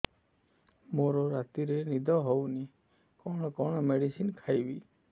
ମୋର ରାତିରେ ନିଦ ହଉନି କଣ କଣ ମେଡିସିନ ଖାଇବି